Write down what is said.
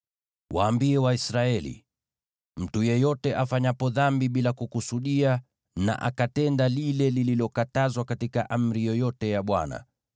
“Waambie Waisraeli: ‘Mtu yeyote afanyapo dhambi bila kukusudia na akatenda lile lililokatazwa katika amri yoyote ya Bwana :